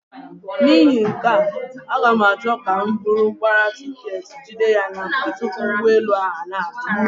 N'ihi nke a, aga m achọ ka m buru gbara tiketi jide ya n'aka tupu ụgbọelu ahụ abịa.